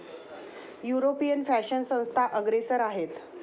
यूरोपीय फॅशन संस्था अग्रेसर आहेत.